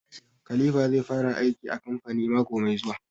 Khalipha zai fara aiki a kamfani mako mai zuwa